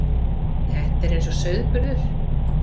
Þetta er eins og sauðburður.